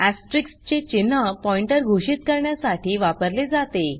asterisk चे चिन्ह pointer घोषित करण्यासाठी वापरले जाते